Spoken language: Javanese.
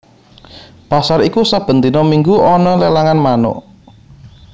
Pasar iku saben dina minggu ana lelangan manuk